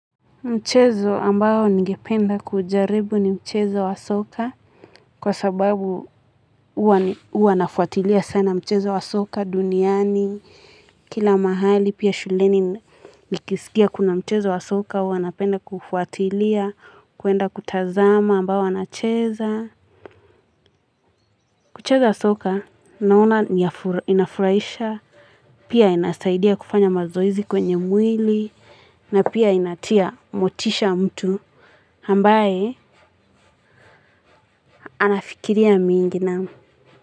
Mchezo ambao ningependa kujaribu ni mchezo wa soka. Kwa sababu uwa nafuatilia sana mchezo wa soka duniani. Kila mahali pia shuleni nikisikia kuna mchezo wa soka. Uwa napenda kufuatilia, kuenda kutazama ambayo wanacheza. Kucheza soka, nauna inafuraisha. Pia inasaidia kufanya mazoizi kwenye mwili. Na pia inatia motisha mtu. Hambaye ana fikiria mingi nam.